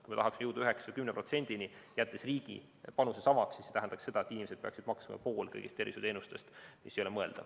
Kui me tahaksime jõuda 9% või 10%‑ni, jättes riigi panuse samaks, siis see tähendaks seda, et inimesed peaksid maksma kinni poole kõigist tervishoiuteenustest, mis ei ole mõeldav.